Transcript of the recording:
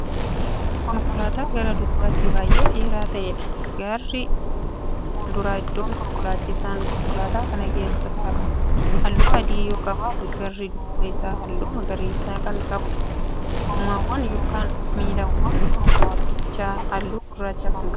Konkolaataa gara duubaatti baay'ee dheeraa ta'eedha. garri fuulduraa iddoon konkolaachisaan konkolaataa kanaa keessaa ta'u halluu adii yoo qabaatu garri duuba Isaa halluu magariisa Kan qabuudha. gommaawwaan yookan miilawwan konkolaatichaa halluu gurraacha Kan qabuudha